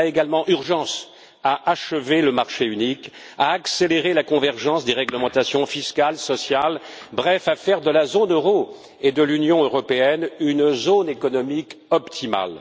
Il y a également urgence à achever le marché unique, à accélérer la convergence des réglementations fiscales, sociales, bref, à faire de la zone euro et de l'Union européenne une zone économique optimale.